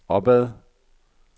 opad